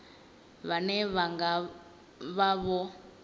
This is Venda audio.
vhane vha nga vha vho